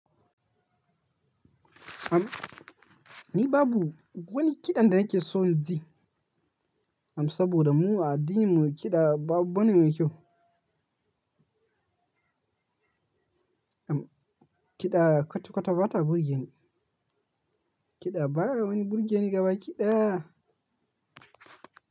Am, ni babu wani kiɗan da nake so in ji, am saboda mu a addinin mu kiɗa ba abu bane mai kyau. Am, kiɗa kwata-kwata ba ta burge ni. Kiɗa baya wani burge ni gaba kiɗaya.